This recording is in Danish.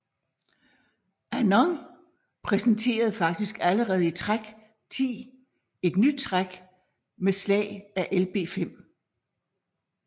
Anand præsenterede faktisk allerede i træk 10 et nyt træk med slag af Lb5